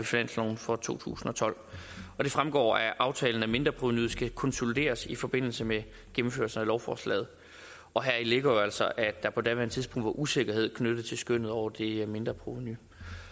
finansloven for to tusind og tolv det fremgår af aftalen at mindreprovenuet skal konsolideres i forbindelse med gennemførelsen af lovforslaget og heri ligger jo altså at der på daværende tidspunkt var usikkerhed knyttet til skønnet over det mindreprovenu